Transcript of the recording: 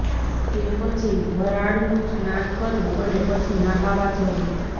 તે પછી વરાળનું સ્નાન કરવું અને પછી નહાવા જવું